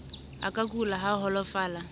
a ka kula a holofala